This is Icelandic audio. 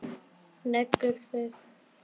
Leggur sig.